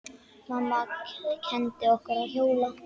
Mamma kenndi okkur að hjóla.